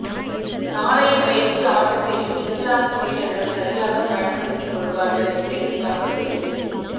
நாளைய பயிற்சி ஆட்டத்தையும் இங்கிலாந்து வீரர்கள் சரியாக பயன்படுத்திக் கொள்வார்கள் என்று எதிர்பார்க்கப்படுகிறது